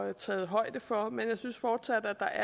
er taget højde for dem men jeg synes fortsat at der